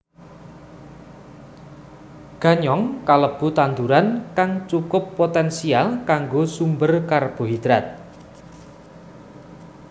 Ganyong kalebu tanduran kang cukup poténsial kanggo sumber karbohidrat